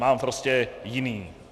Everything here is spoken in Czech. Mám prostě jiný.